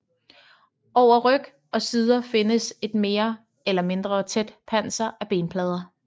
Over ryg og sider findes et mere eller mindre tæt panser af benplader